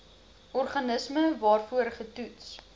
organisme waarvoor getoets